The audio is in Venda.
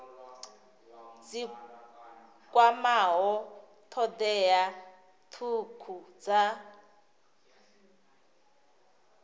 dzi kwamaho thodea thukhu dza